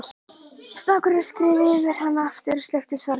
Snákurinn skreið yfir hann aftur, sleikti svarrauðar varirnar.